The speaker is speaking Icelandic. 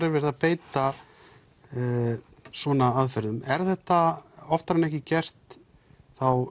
er verið að beita svona aðferðum er þetta oftar en ekki gert þá